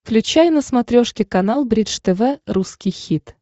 включай на смотрешке канал бридж тв русский хит